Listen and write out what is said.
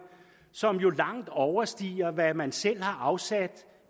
som jo langt overstiger hvad man selv har afsat